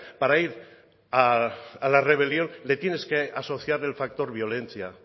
para ir a la rebelión le tienes que asociar el factor violencia